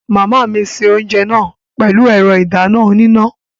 Màmá mi se oúnjẹ náà pẹ̀lú ẹ̀rọ ìdáná oníná